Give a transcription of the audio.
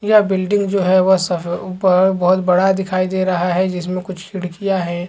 यह बिल्डिंग जो है वह सफ़े अ बहोत बड़ा दिखाई दे रहा है जिसमे कुछ खिड़किया है।